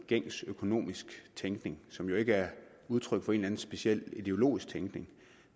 gængs økonomisk tænkning som jo ikke udtryk for en eller anden speciel ideologisk tænkning